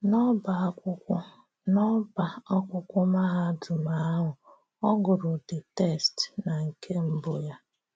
N’ọ́bá àkwụ́kwọ̀ N’ọ́bá àkwụ́kwọ̀ mahádụ̀m ahụ, ọ gụrụ the text nà nke mbụ̀ ya.